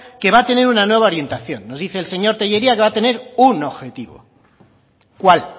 que va a tener una nueva orientación nos dice el señor tellería que va a tener un objetivo cuál